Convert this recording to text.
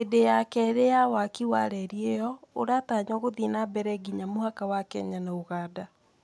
hĩndĩ ya kerĩ ya waki wa reri iyo uratanywogũthii nambere nginya mũhaka wa kenya na ũgandage Translation